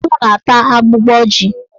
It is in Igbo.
Ewu na-ata agbụgbọ ji.